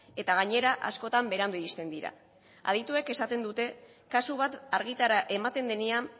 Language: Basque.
eta gainera askotan berandu iristen dira adituek esaten dute kasu bat argitara ematen denean